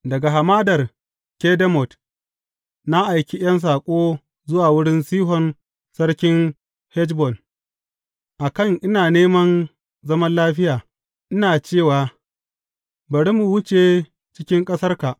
Daga hamadar Kedemot, na aiki ’yan saƙo zuwa wurin Sihon sarkin Heshbon, a kan ina neman zaman lafiya, ina cewa, Bari mu wuce cikin ƙasarka.